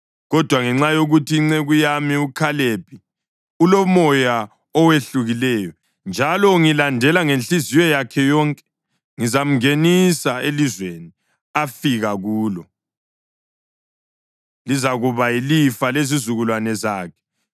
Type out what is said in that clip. Kodwa ngenxa yokuthi inceku yami uKhalebi ulomoya owehlukileyo njalo ungilandela ngenhliziyo yakhe yonke, ngizamngenisa elizweni afika kulo, lizakuba yilifa lezizukulwane zakhe.